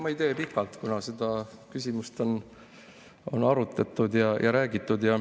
Ma ei tee pikalt, kuna seda küsimust on arutatud ja sellest räägitud.